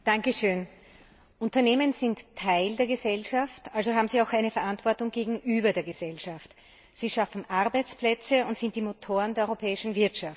Herr Präsident! Unternehmen sind Teil der Gesellschaft, also haben sie auch eine Verantwortung gegenüber der Gesellschaft. Sie schaffen Arbeitsplätze und sind die Motoren der europäischen Wirtschaft.